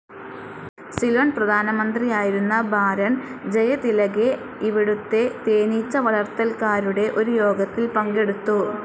സിലോൺ പ്രധാനമന്ത്രിയായിരുന്ന ബാരോൺ ജയതിലകെ ഇവിടുത്തെ തേനീച്ച വളർത്തൽകാരുടെ ഒരു യോഗത്തിൽ പങ്കെടുത്തു.